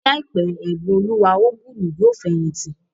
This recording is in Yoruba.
Ní àìpé, Ẹ̀bùnoluwa Ogulu yóò fẹ̀yìntì